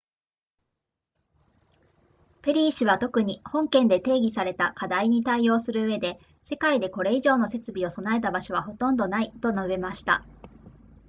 ペリー氏は特に本件で提起された課題に対応するうえで世界でこれ以上の設備を備えた場所はほとんどないと述べました